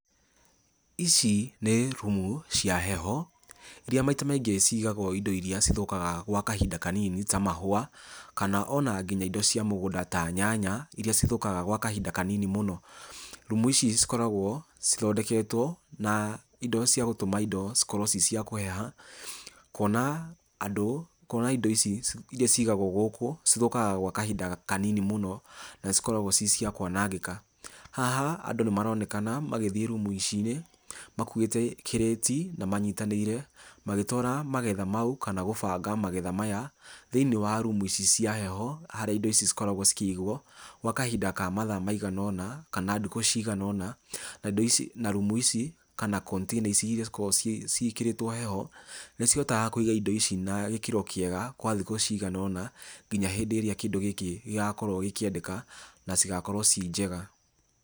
ici nĩ rumu cia heho, iria maita maingĩ cigagwo indo irĩa cithũkaga gwa kahinda kanini ta mahũwa, kana ona indo cia mĩgũnda ta nyanya, irĩa cithũkaga gwa kahinda kanini mũno, rumu ici cikoragwo cithondeketwo na indo cĩa gũtuma indo cikorwo cicĩa kũheha, kwona andũ, kwona indo ici iria cigagwo gũkũ, cithũkaga gwa kahinda kanini muno, na cikoragwo cicĩa kwanangĩka, haha andũ nĩ maronekana magĩthiĩ rumu icinĩ makuwĩte kĩrĩti, na manyitanĩĩre magĩtwara magetha mau kana gũbanga magetha maya, thĩinĩ wa rumu ici cia heho, harĩa indo ici cikoragwo cikĩgwo, gwa kahinda ka mathaa maigana ũna, kana ndukũ cigana ũna, na indo ici, na rumu ici, kana konitĩna ici, iria cikoragwo ciĩkĩrĩtwo heho, nĩ cihotaga kwĩga indo ici na gĩkĩro kĩega, gwa thikũ cigana ũna ngina hĩndĩ ĩrĩa kĩndũ gĩkĩ gĩgakorwo gĩkĩendeka na cigakorwo cinjega.